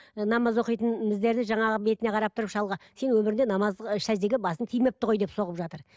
намаз оқитын біздерді жаңағы бетіне қарап тұрып шалға сен өміріңде намаз сәждеге басың тимепті ғой деп соғып жатыр